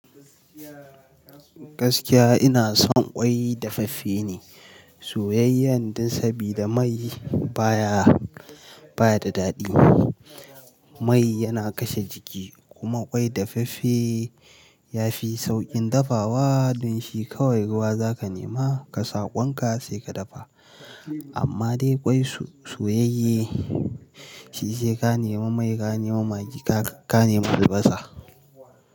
Gaskiya ina son ƙwai dafaffe ne soyayyan dai sabida mai baya, baya da daɗi. Mai yana kashe jiki kuma ƙwai dafaffe ya fi sauƙin dafawa. Dun shi kawai ruwa za ka nema ka sa ƙwan ka sai ka dafa. Amma dai ƙwai soyayye shi sai ka nema mai, ka nema maggi, ka nema albasa.